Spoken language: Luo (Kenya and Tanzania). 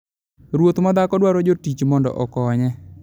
Ruoth ma dhako dwaro jotich mondo okonye.